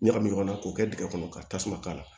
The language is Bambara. Ɲagami ɲɔgɔn na k'o kɛ dingɛ kɔnɔ ka tasuma k'a la